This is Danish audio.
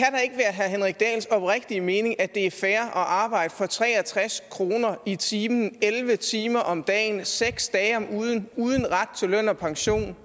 herre henrik dahls oprigtige mening at det er fair at arbejde for tre og tres kroner i timen elleve timer om dagen seks dage om ugen uden ret til løn og pension